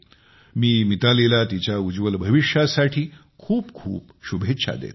मी मितालीला तिच्या उज्ज्वल भविष्यासाठी खूप खूप शुभेच्छा देतो